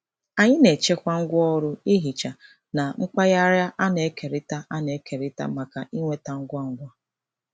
Anyị na-echekwa ngwaọrụ ihicha na mpaghara a na-ekerịta a na-ekerịta maka ịnweta ngwa ngwa.